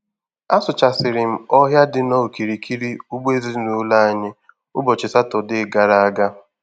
Asụchasịrị m ọhịa dị n'okirikiri ugbo ezinụlọ anyị ụbọchị Satọdee gara aga.